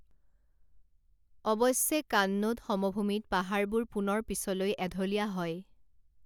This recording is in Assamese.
অৱশ্যে, কান্নোদ সমভূমিত পাহাৰবোৰ পুনৰ পিছলৈ এঢলীয়া হয়।